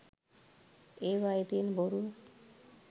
ඒවායේ තියෙන බොරුව.